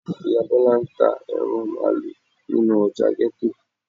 ìyá Bíọ́lá ń ta ẹran Máálú nínú ọjà ghetto.